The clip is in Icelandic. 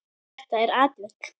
Þetta er atvik.